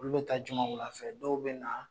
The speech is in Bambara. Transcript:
Olu bɛ taa juma wula fɛ dɔw bɛ na